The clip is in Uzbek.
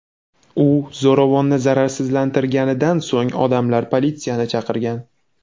U zo‘ravonni zararsizlantirganidan so‘ng odamlar politsiyani chaqirgan.